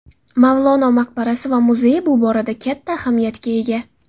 Mavlono maqbarasi va muzeyi bu borada katta ahamiyatga ega.